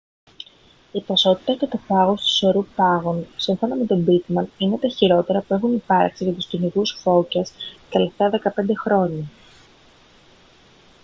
η ποσότητα και το πάχος του σωρού πάγων σύμφωνα με τον pittman είναι τα χειρότερα που έχουν υπάρξει για τους κυνηγούς φώκιας τα τελευταία 15 χρόνια